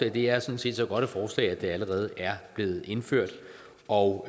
og det er sådan set så godt et forslag at det allerede er blevet indført og